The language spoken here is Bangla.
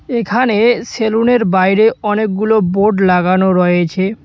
এখানে সেলুনের বাইরে অনেকগুলো বোর্ড লাগানো রয়েছে।